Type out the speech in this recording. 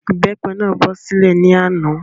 Ìbépe náà bọ́ sílẹ̀ ní àná